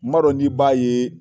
M'a dnɔ ni b'a ye?